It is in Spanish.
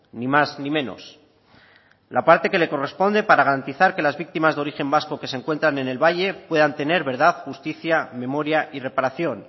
ni más ni menos la parte que le corresponde para garantizar que las victimas de origen vasco que se encuentran en el valle puedan tener verdad justicia memoria y reparación